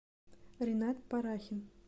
ренат парахин